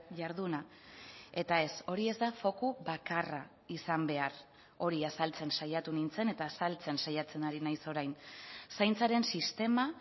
jarduna eta ez hori ez da foku bakarra izan behar hori azaltzen saiatu nintzen eta azaltzen saiatzen ari naiz orain zaintzaren sistema